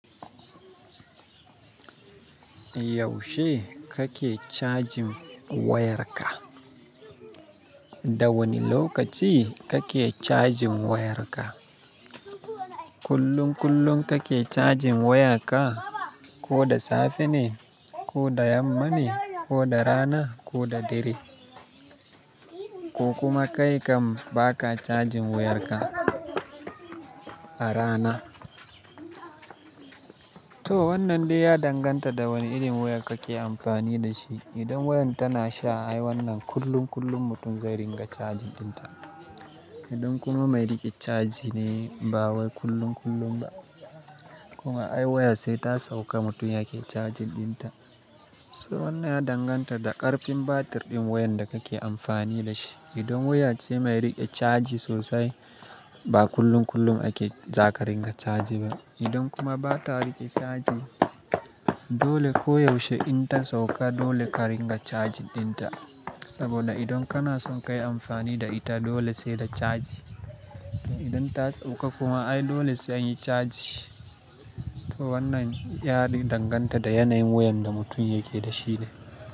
Yaushe kake cajin wayarka? Da wane lokaci kake cajin wayarka? Kullum kullum kake cajin wayarka, ko da safe ne, ko da yamma ne, ko da rana, ko da dare? Ko kuma kai kam baka cajin wayarka a rana? To wannan dai ya danganta da wane irin waya kake amfani da shi. Idan wayan tana sha ai wannan kullum kullum mutum zai ringa caji ɗinta. Idan kuma mai riƙe caji ne ba wai kullum kullum ba. Kuma ai waya sai ta sauka mutum yake cajin ɗinta. So wannan ya danganta da ƙarfin batir ɗin wayan da kake amfani da shi. Idan waya ce mai riƙe caji sosai ba kullum kullum ake zaka ringa caji ba. Idan kuma bata riƙe caji dole koyaushe in ta sauka dole ka ringa caji ɗinta. Saboda idan kana son kayi amfani da ita dole sai da caji. Idan ta sauka kuma ai dole sai anyi caji. To wannan yadai danganta da yanayin wayan da mutum yake da shi ne.